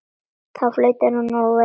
Þá flautar hann og veifar.